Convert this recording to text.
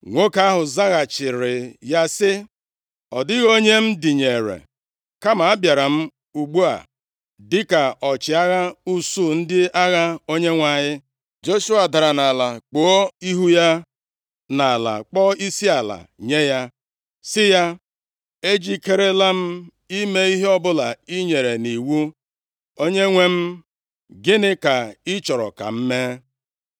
Nwoke ahụ zaghachiri ya sị, “Ọ dịghị onye m dịnyeere, kama abịara m ugbu a dịka ọchịagha usuu ndị agha Onyenwe anyị.” Joshua dara nʼala kpuo ihu ya nʼala kpọọ isiala nye ya, sị ya, “Ejikerela m ime ihe ọbụla i nyere nʼiwu. Onyenwe m, gịnị ka ị chọrọ ka m mee?”